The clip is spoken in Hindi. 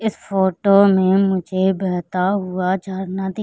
इस फोटो में मुझे बहता हुआ झरना दिख--